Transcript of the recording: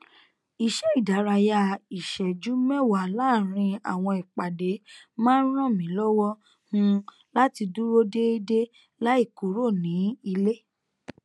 iṣẹ ìdárayá ìṣẹjú mẹwàá láàrín àwọn ìpàdé má n ràn mí lọwọ um láti dúró déédéé láì kúrò ní ilé